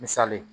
Misali ye